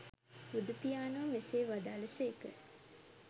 බුදුපියාණෝ මෙසේ වදාළ සේක.